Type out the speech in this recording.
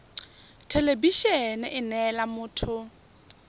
thelebi ene e neela motho